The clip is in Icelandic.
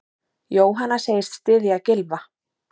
Jóhanna segist styðja Gylfa.